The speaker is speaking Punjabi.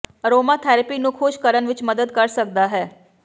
ਅਰੋਮਾਥੈਰੇਪੀ ਨੂੰ ਖੁਸ਼ ਕਰਨ ਵਿੱਚ ਮਦਦ ਕਰ ਸਕਦਾ ਹੈ